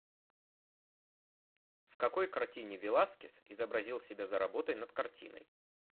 в какой картине веласкес изобразил себя за работой над картиной